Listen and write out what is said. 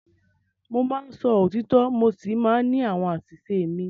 Mo máa ń sọ òtítọ́ mo sì máa ń ní àwọn àṣìṣe mi.